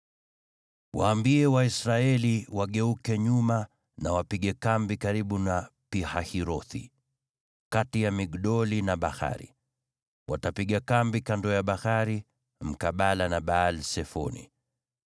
“Waambie Waisraeli wageuke nyuma na wapige kambi karibu na Pi-Hahirothi, kati ya Migdoli na bahari. Watapiga kambi kando ya bahari, mkabala na Baal-Sefoni.